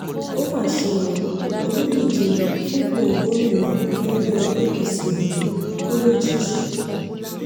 ó mà ṣe o olùdíje fúnpọ̀ gómìnà lẹ́gbẹ́ apc ondo kú lójijì